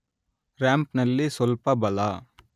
ರಾಂಪ್‌ನಲ್ಲಿ ಸ್ವಲ್ಪ ಬಲ